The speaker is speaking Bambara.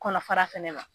Kɔnɔfara fɛnɛ na